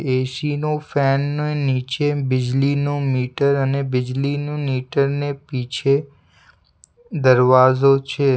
એ_શી નો ફેન ના નીચે બીજલીનો મીટર અને બીજલીનું મીટર ને પીછે દરવાઝો છે.